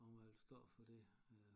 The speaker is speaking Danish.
Om jeg ville stå for det øh